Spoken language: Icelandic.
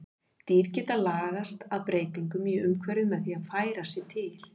Dýr geta lagast að breytingum í umhverfi með því að færa sig til.